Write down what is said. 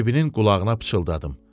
Bibinin qulağına pıçıldadım.